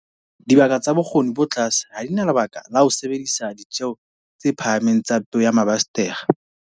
Dibaka tsa bokgoni bo tlase ha di na lebaka la ho ka sebedisa ditjeo tsa phahameng tsa peo ya mabasetere.